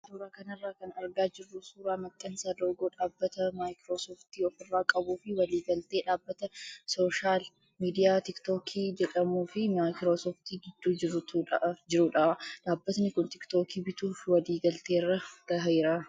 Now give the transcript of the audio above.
Suuraa kanarraa kan argaa jirru suuraa maxxansa loogoo dhaabbata maayikiroosooftii ofirraa qabuu fi walii galtee dhaabbata sooshaal miidiyaa tiiktookii jedhamuu fi maayikiroosooftii gidduu jirudha. Dhaabbtni kun tiiktookii bituuf walii galteerra gaheera.